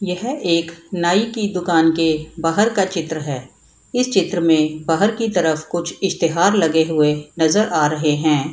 यह एक नाइ की दूकान के बाहर का चित्र है इस चित्र में बाहर की तरफ कुछ इस्तिहार लगे हुए नजर आ रहे हैं ।